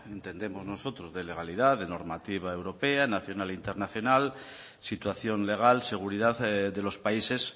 de entendemos nosotros legalidad de normativa europea nacional internacional situación legal seguridad de los países